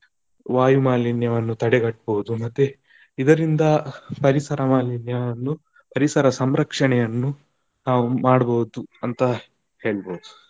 ವಾಯು ಮಾಲಿನ್ಯವನ್ನು ತಡೆಗಟ್ಟಬಹುದು, ಮತ್ತೆ ಇದರಿಂದ ಪರಿಸರ ಮಾಲಿನ್ಯವನ್ನು ಪರಿಸರ ಸಂರಕ್ಷಣೆಯನ್ನು ನಾವು ಮಾಡಬಹುದು ಅಂತ ಹೇಳ್ಬಹುದು.